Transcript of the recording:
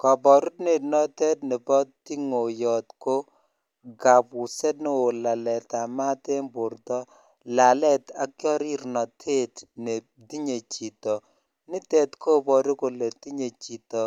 Koborunet notet nebo ting'oyot ko kabuset neo, laleet en borto, laleet ak chorirnotet netinye chiton, nitet koboru kole tinye chito